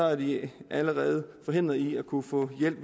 er de allerede forhindret i at kunne få hjælp